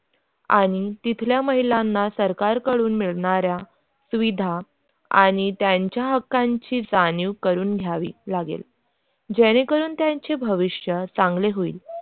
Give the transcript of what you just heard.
आणि तिथल्या महिलांना सरकारकडून मिळणारा सुविधा आणि त्यांच्या हक्काची जाणीव करून घ्यावी लागेल जेणेकरून त्यांचे भविष्य चांगले होईल.